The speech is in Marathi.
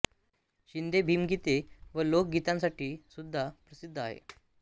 शिंदे भीमगीते व लोक गीतांसाठी सुद्धा प्रसिद्ध आहे